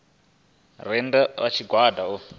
re nnda ha tshigwada u